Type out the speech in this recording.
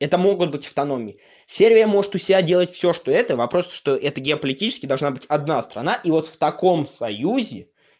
это могут быть автономией сербия может у себя всё что это вопрос то что это геополитически должна быть одна страна и вот в таком союзе